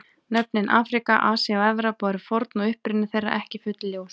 Nöfnin Afríka, Asía og Evrópa eru forn og uppruni þeirra ekki fullljós.